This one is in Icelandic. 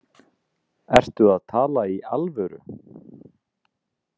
SKÚLI: Ertu að tala í alvöru?